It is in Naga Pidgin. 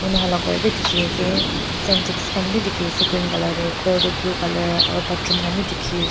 moi khan la ghor bi dikhi ase syntax khan bi dikhi ase green color de ghor toh blue color aro bathroom khan bi dikhi ase.